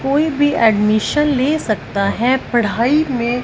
कोई भी एडमिशन ले सकता है पढ़ाई में--